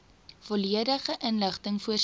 volledige inligting voorsien